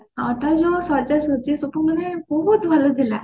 ହଁ ତାର ଯୋଉ ସଜାସଜ୍ଜି ସେଠୁ ମାନେ ପୁରା ଥିଲା